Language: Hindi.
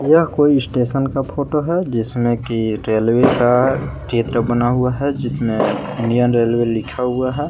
यह कोई स्टेशन का फोटो है जिसमें की रेलवे का चित्र बना हुआ है जिसमें इंडियन रेलवे लिखा हुआ है।